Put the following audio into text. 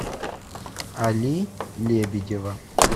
али лебедева